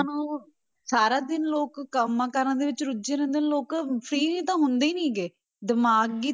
ਨੂੰ, ਸਾਰਾ ਦਿਨ ਲੋਕ ਕੰਮਾਂ ਕਾਰਾਂ ਦੇ ਵਿੱਚ ਰੁੱਝੇ ਰਹਿੰਦੇ ਨੇ ਲੋਕ free ਤਾਂ ਹੁੰਦੇ ਹੀ ਨੀ ਗੇ ਦਿਮਾਗੀ